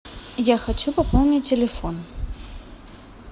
я хочу пополнить телефон